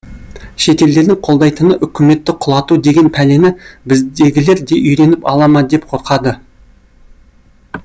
шетелдердің қолдайтыны үкіметті құлату деген пәлені біздегілер де үйреніп ала ма деп қорқады